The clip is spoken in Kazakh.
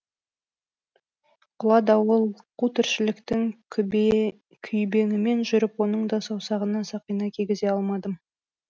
құла дауыл қу тіршіліктің күйбеңімен жүріп оның да саусағына сақина кигізе алмадым